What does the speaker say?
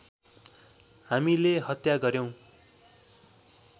हामीले हत्या गर्‍यौँ